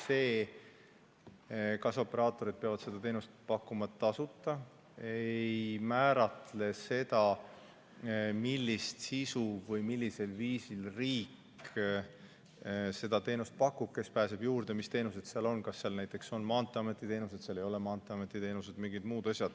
See, kas operaatorid peavad seda teenust pakkuma tasuta, ei määratle, millisel viisil riik seda teenust pakub, kes pääseb juurde, mis teenused seal on, kas seal näiteks on maanteeameti teenuseid või seal ei ole maanteeameti teenuseid või mingeid muid asju.